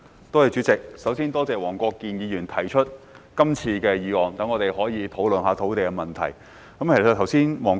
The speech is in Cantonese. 代理主席，首先多謝黃國健議員提出這項議案，讓我們可以討論土地問題。